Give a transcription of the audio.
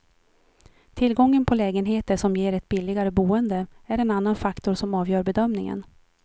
Tillgången på lägenheter som ger ett billigare boende, är en annan faktor som avgör bedömningen.